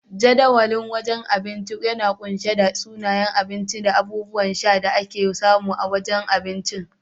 Jadawalin wajen abinci yana kunshe da sunayen abinci da abubuwan sha da ake samu a wajen abinci.